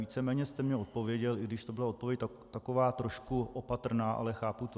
Víceméně jste mně odpověděl, i když to byla odpověď taková trošku opatrná, ale chápu to.